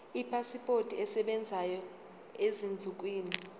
ipasipoti esebenzayo ezinsukwini